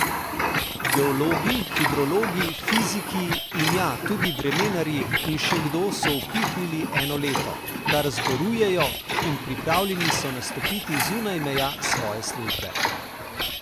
Geologi, hidrologi, fiziki in, ja, tudi vremenarji in še kdo so upihnili eno leto, kar zborujejo, in pripravljeni so nastopiti zunaj meja svoje službe.